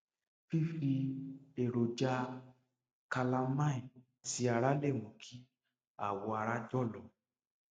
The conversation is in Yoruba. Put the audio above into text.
fífi èròjà calamine sí ara lè mú kí awọ ara jọlọ